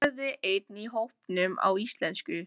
sagði einn í hópnum á íslensku.